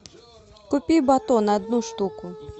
купи батон одну штуку